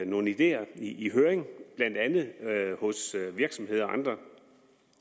nogle ideer i høring blandt andet hos virksomheder og andre